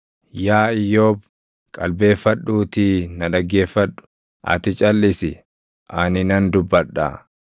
“Yaa Iyyoob qalbeeffadhuutii na dhaggeeffadhu; ati calʼisi; ani nan dubbadhaa.